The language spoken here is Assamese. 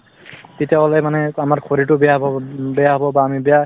তেতিয়াহলে মানে আমাৰ শৰীৰটো বেয়া হব্ব বেয়া হব বা আমি বেয়া